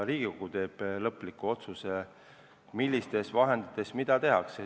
Riigikogu teeb lõpliku otsuse, millistest vahenditest mida tehakse.